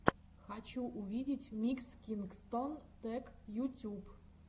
хочу увидеть микс кингстон тэк ютюб